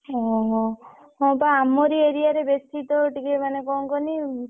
ଓହୋ ହଁ ବା ଆମରି area ରେ ବେସି ତ ଟିକେ ମାନେ କଣ କହନି,